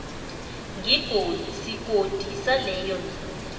sigodi saleyo nduna